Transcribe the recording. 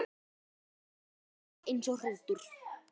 Já, alveg eins og hrútur.